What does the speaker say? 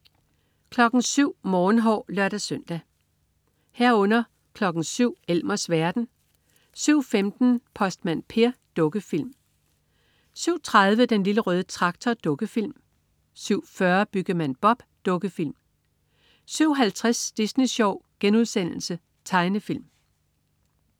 07.00 Morgenhår (lør-søn) 07.00 Elmers verden (lør-søn) 07.15 Postmand Per. Dukkefilm (lør-søn) 07.30 Den Lille Røde Traktor. Dukkefilm 07.40 Byggemand Bob. Dukkefilm 07.50 Disney Sjov.* Tegnefilm